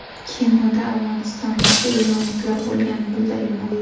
Kemada afg‘onistonlik va eronliklar bo‘lgani bildirilmoqda.